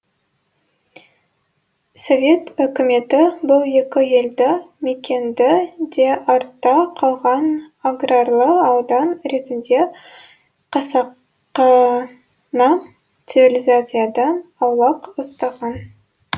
совет өкіметі бұл екі елді мекенді де артта қалған аграрлы аудан ретінде қасақана цивлизациядан аулақ ұстаған